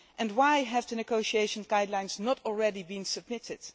why have the negotiation guidelines not already been submitted?